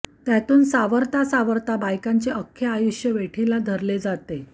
त्यातून सावरता सावरता बायकांचे आख्खे आयुष्य वेठीला धरले जाते